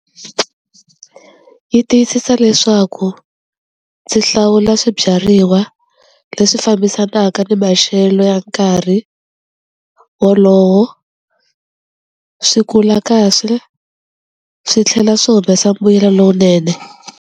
Yi tiyisisa leswaku ndzi hlawula swibyariwa leswi fambisanaka ni maxelo ya nkarhi wolowo swi kula kahle swi tlhela swi humesa mbuyelo lowunene.